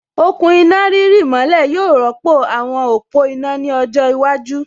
Okùn iná rírì mọ́lẹ̀ yóò rọ́pò àwọn òpó iná ní ọjọ́ iwájú